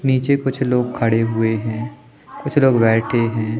नीचे कुछ लोग खड़े हुए हैं कुछ लोग बैठे हैं।